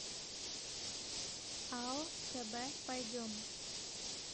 ао кб пойдем